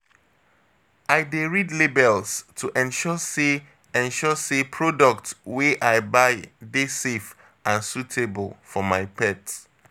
I dey read labels to ensure sey ensure sey products wey I buy dey safe and suitable for my pet.